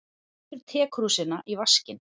Setur tekrúsina í vaskinn.